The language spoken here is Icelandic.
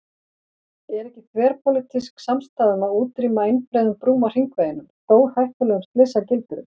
Er ekki þverpólitísk samstaða um að útrýma einbreiðum brúm á hringveginum, stórhættulegum slysagildrum?